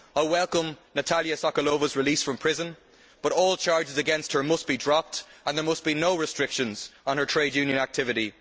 I welcome Natalya Sokolova's release from prison, but all charges against her must be dropped and there must be no restrictions on her trade union activity.